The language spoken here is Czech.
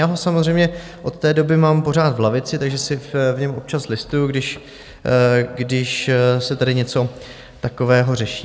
Já ho samozřejmě od té doby mám pořád v lavici, takže si v něm občas listuji, když se tady něco takového řeší.